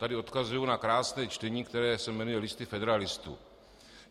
Tady odkazuji na krásné čtení, které se jmenuje Listy federalistů.